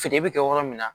Feere bɛ kɛ yɔrɔ min na